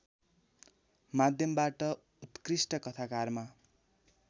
माध्यमबाट उत्कृष्ट कथाकारमा